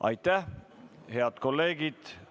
Aitäh, head kolleegid!